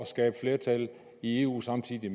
skabe flertal i eu samtidig